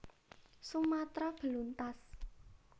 Sumatra beluntas